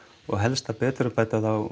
og helst að betrumbæta þá